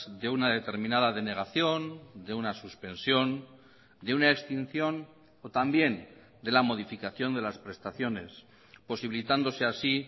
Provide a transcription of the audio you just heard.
de una determinada denegación de una suspensión de una extinción o también de la modificación de las prestaciones posibilitándose así